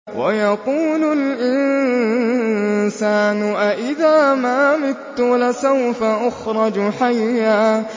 وَيَقُولُ الْإِنسَانُ أَإِذَا مَا مِتُّ لَسَوْفَ أُخْرَجُ حَيًّا